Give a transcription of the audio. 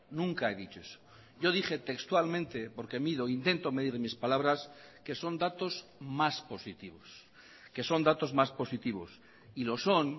nunca he dicho eso yo dije textualmente porque mido intento medir mis palabras que son datos más positivos que son datos más positivos y los son